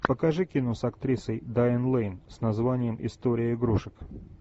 покажи кино с актрисой дайан лейн с названием история игрушек